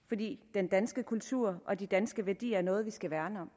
fordi den danske kultur og de danske værdier er noget vi skal værne om